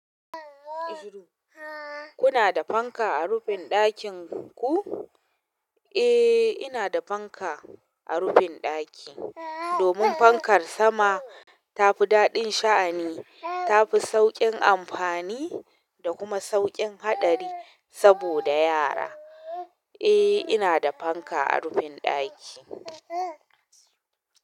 Kuna da fanka a rufin ɗakin ku? Eh, ina da fanka a rufin ɗaki domin fankar sama ta fi daɗin sha'ani, ta fi sauƙin amfani da kuma sauƙin haɗari saboda yara. Eh, ina da fanka a rufin ɗaki.